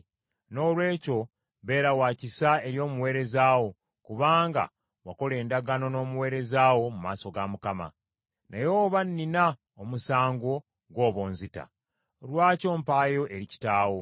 Noolwekyo beera wa kisa eri omuweereza wo, kubanga wakola endagaano n’omuweereza wo mu maaso ga Mukama . Naye oba nnina omusango, gw’oba onzita. Lwaki ompaayo eri kitaawo?”